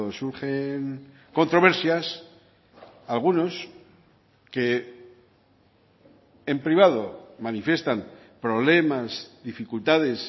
surge controversias algunos que en privado manifiestan problemas dificultades